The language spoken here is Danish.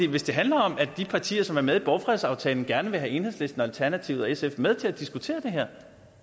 hvis det handler om at de partier som er med i borgfredsaftalen gerne vil have enhedslisten og alternativet og sf med til at diskutere det her